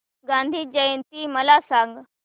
गांधी जयंती मला सांग